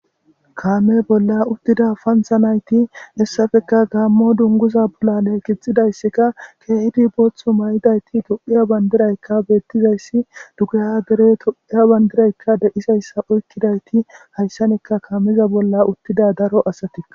kaame bolla uttida pantha nayti hessafeka gaammo dunguza bolale kixidayssikka keehidi booththu may7idayti to7iya bandiraykka beettizayssi dugaya dere to7iya bandiraykka deisayssa oykkidayti hayssanekka kaamiza bolla uttida daro asati